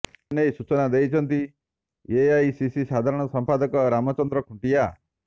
ଏନେଇ ସୂଚନା ଦେଇଛନ୍ତି ଏଆଇସିସି ସାଧାରଣ ସମ୍ପାଦକ ରାମଚନ୍ଦ୍ର ଖୁଣ୍ଟିଆ